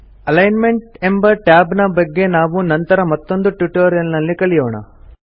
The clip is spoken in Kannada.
ಅಲಿಗ್ನ್ಮೆಂಟ್ ಎಂಬ ಟ್ಯಾಬ್ ನ ಬಗ್ಗೆ ನಾವು ನಂತರ ಮತ್ತೊಂದು ಟ್ಯುಟೋರಿಯಲ್ ನಲ್ಲಿ ಕಲಿಯೋಣ